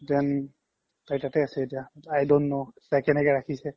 then তাইৰ তাতে আছে এতিয়া i don't know তাই কেনেকে ৰাখিছে